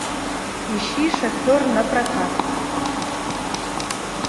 ищи шофер напрокат